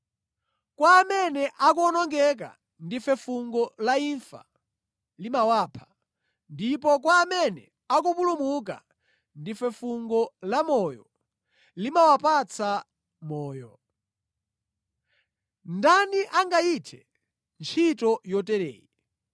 Kwa amene akuwonongeka ndife fungo la imfa, limawapha. Ndipo kwa amene akupulumuka ndife fungo lamoyo, limawapatsa moyo. Ndani angayithe ntchito yotereyi?